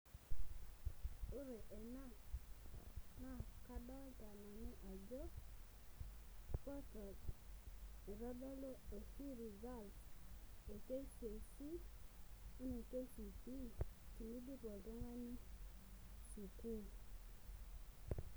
ore ena naa kadoolta portal naitodolu results e kcpe o kcse tenidip oltung'ani sukuul.